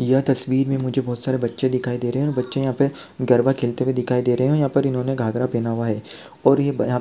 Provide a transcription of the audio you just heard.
यह तस्वीर मे मुझे बहुत सारे बच्चे दिखाई दे रहे हैं और बच्चे यह पे गरबा खेलते हुए दिखाई दे रहे है और यह पर इन्होंने घाघरा पहन हुआ है और ये ब यह